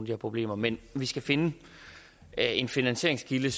her problemer men vi skal finde en finansieringskilde